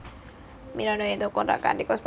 Miranda entuk kontrak kanthi kosmetik Maybelline